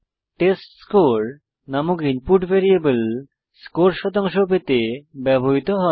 test score নামক input variable score শতাংশ পেতে ব্যবহৃত হয়